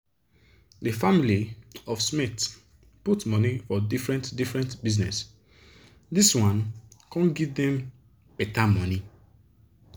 di family of smith put money for different different bizness dis one come give dem better money